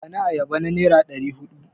Bani ayaba na nera ɗari huɗu!